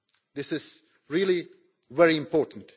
This is really very important.